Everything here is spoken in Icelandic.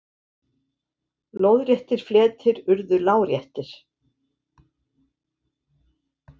Lóðréttir fletir urðu láréttir.